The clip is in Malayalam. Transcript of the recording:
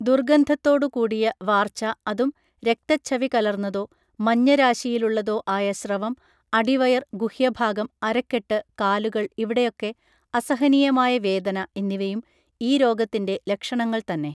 ദുർഗന്ധത്തോടുകൂടിയ വാർച്ച അതും രക്തച്ഛവി കലർന്നതോ മഞ്ഞരാശിയിലുള്ളതോ ആയ സ്രവം അടിവയർ ഗുഹ്യഭാഗം അരക്കെട്ട് കാലുകൾ ഇവിടെയൊക്കെ അസഹനീയമായ വേദന എന്നിവയും ഈ രോഗത്തിൻറെ ലക്ഷണങ്ങൾ തന്നെ